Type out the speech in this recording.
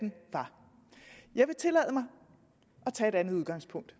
jeg vil tillade mig at tage et andet udgangspunkt